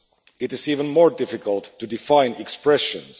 It is even more difficult to define expressions.